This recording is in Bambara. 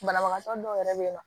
Banabagatɔ dɔw yɛrɛ bɛ yen nɔ